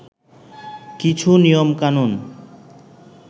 কিছু নিয়মকানুন